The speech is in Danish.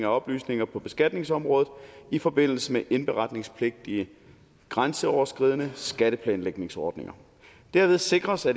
oplysninger på beskatningsområdet i forbindelse med indberetningspligtige grænseoverskridende skatteplanlægningsordninger derved sikres at